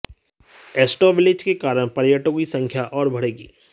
astro village के कारण पर्यटकों की संख्या और बढ़ेगी